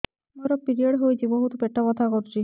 ମୋର ପିରିଅଡ଼ ହୋଇଛି ବହୁତ ପେଟ ବଥା କରୁଛି